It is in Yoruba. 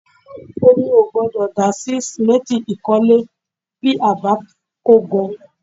Omi ò gbọ́dọ̀ dà sí sìmẹ́ǹtì ìkọ́lé bí a ò bá fẹ́ kó gan